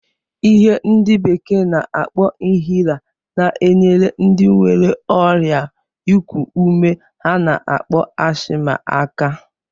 Ihe ndị bekee na-akpọ inhaler na-enyere ndị nwere ọrịa ịkụ ume a na-akpọ ashma aka.